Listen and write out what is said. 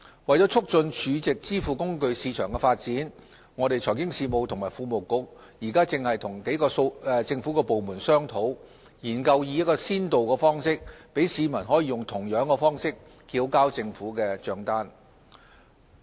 為促進儲值支付工具市場的發展，財經事務及庫務局正與數個政府部門商討，研究以先導方式，讓市民用同樣的方式繳交政府帳單。